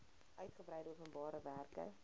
uitgebreide openbare werke